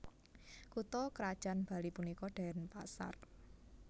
Kutha krajan Bali punika Denpasar